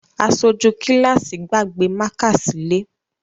Aṣojú kíláàsì gbàgbé mákà sílé